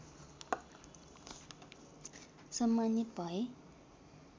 सम्मानित भए